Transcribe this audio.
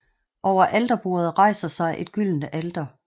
Over alterbordet rejser sig et gyldent alter